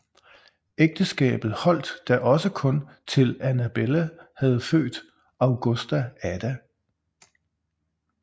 Ægteskabet holdt da også kun til Annabella havde født Augusta Ada